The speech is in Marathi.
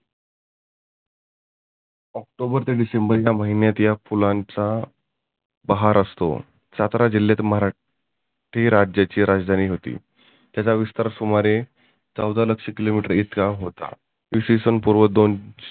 ऑक्टोबर ते डिसेंबर या फुलांचा बहार आसतो. सातारा जिल्ह्यात मराठी राज्याची राजधानी होती. त्याचा विस्थार सुमारे चौदा लक्ष किलो मिटर इतका होता. इसवी सन पुर्व दोन